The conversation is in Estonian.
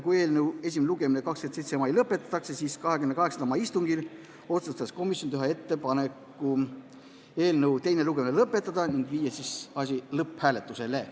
28. mai istungil otsustas komisjon teha ettepaneku eelnõu teine lugemine lõpetada ja panna eelnõu lõpphääletusele.